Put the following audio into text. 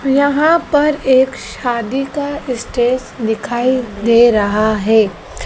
यहां पर एक शादी का स्टेज दिखाई दे रहा है।